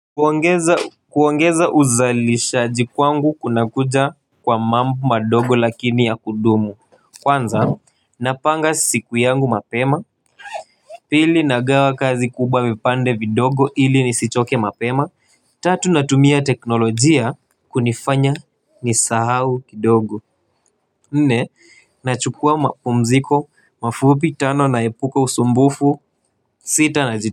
Kuongeza kuongeza uzalishaji kwangu kuna kuja kwa mambo madogo lakini ya kudumu. Kwanza napanga siku yangu mapema. Pili nagawa kazi kubwa vipande vidogo ili nisichoke mapema. Tatu natumia teknolojia kunifanya nisahau kidogo. Nne nachukua mapumziko mafupi tano na epuko usumbufu sita na ji.